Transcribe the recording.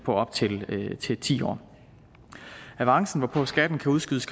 op til ti år avancen som skatten kan udskydes